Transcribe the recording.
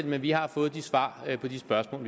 men vi har fået svar på de spørgsmål